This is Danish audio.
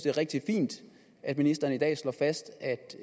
er rigtig fint at ministeren i dag slår fast